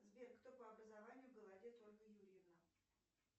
сбер кто по образованию голодец ольга юрьевна